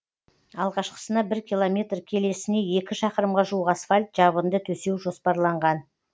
алғашқысына бір километр келесіне екі шақырымға жуық асфальт жабынды төсеу жоспарланған